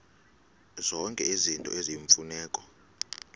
zonke izinto eziyimfuneko